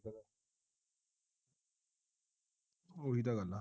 ਉਹੀ ਤਾਂ ਗੱਲ ਹੈ